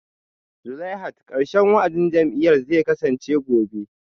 Zulaihat karshen wa'adin jam'iyyar zai kasance gobe